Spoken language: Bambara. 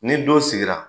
Ni don sigira